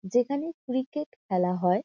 যেখানে ক্রিকেট খেলা হয়।